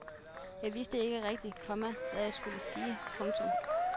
Jeg vidste ikke rigtig, komma hvad jeg skulle sige. punktum